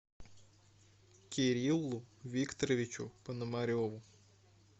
кириллу викторовичу пономареву